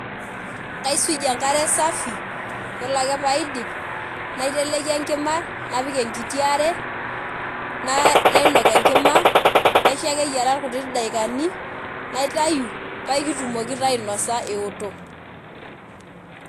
Kaisujie enkare safi yiolo ake pee aidip naiteleiki enkima napik enkiti are naainok enkima naisho ake eyiaraa ilkuti dakikani naitayu paa aikitumoki naa ainosa eoto.